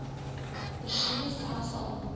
persone selfs al